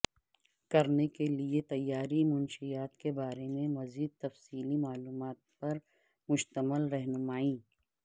کرنے کے لئے تیاری منشیات کے بارے میں مزید تفصیلی معلومات پر مشتمل رہنمائی